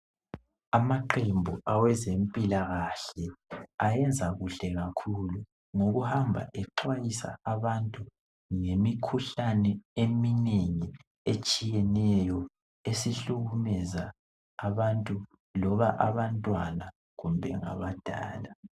Amaqembu awezempilakahle ayenza kuhle kakhulu ngokuhamba exwayisa abantu ngemikhuhlane eminengi etshiyeneyo esihlukumeza abantu loba abantwana kumbe abadala.